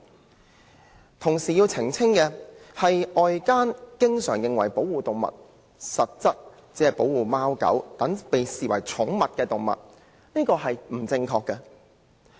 我同時要澄清的是，外間經常以為保護動物的對象實質上只包括貓、狗等寵物，這是不正確的。